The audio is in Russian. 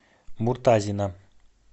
муртазина